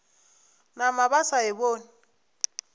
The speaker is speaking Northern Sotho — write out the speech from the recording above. nama ba sa e bone